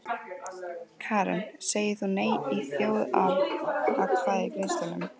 Karen: Sagðir þú nei í þjóðaratkvæðagreiðslunum?